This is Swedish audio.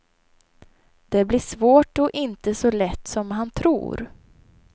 Det blir svårt och inte så lätt som han tror.